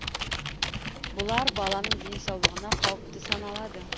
бұлар баланың денсаулығына қауіпті саналады